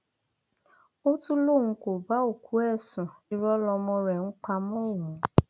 ó tún lóun kó bá òkú ẹ sun irọ lọmọ rẹ ń pa mọ òun